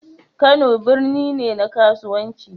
Kano birni ne na kasuwanci